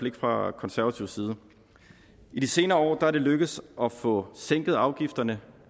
ikke fra konservativ side i de senere år er det lykkedes at få sænket afgifterne